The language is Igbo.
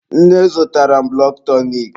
Nne zụtara m bụlọd tọnik.